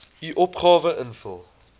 u opgawe invul